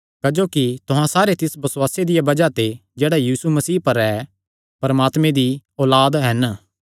क्जोकि तुहां सारे तिस बसुआसे दिया बज़ाह ते जेह्ड़ा यीशु मसीह पर ऐ परमात्मे दी औलाद हन